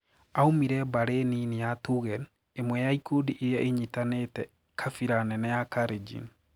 Aumire mbari nini ya Tugen, imwe ya ikundi iria inyatanetie kabira nene ya Kalenjin.